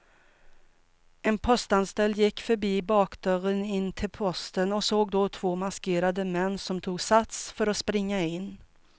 En postanställd gick förbi bakdörren in till posten och såg då två maskerade män som tog sats för att springa in.